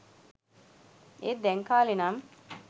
ඒත් දැන් කාලේ නම්